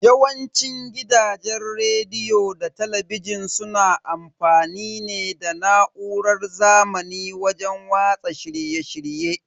Yawanci gidajen rediyo da talabijin suna amfani ne da na'urar zamani wajen watsa shirye shirye.